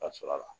Ka sɔrɔ a la